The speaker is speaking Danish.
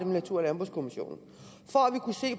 natur og landbrugskommissionen